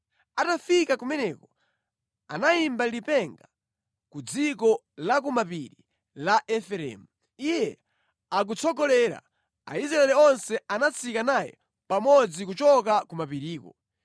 Atafika kumeneko, anayimba lipenga ku dziko la ku mapiri la Efereimu. Iye akutsogolera, Aisraeli onse anatsika naye pamodzi kuchoka ku mapiriko.